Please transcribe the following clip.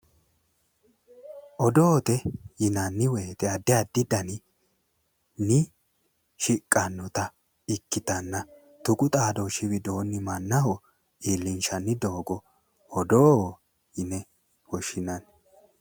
Odoote yinanni woyite addi addi daninni shiqqannota ikkitanna tuqu xaadooshu widoonni mannaho iilinshanni doogo odoo yine woshinanni